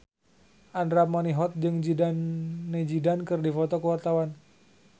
Andra Manihot jeung Zidane Zidane keur dipoto ku wartawan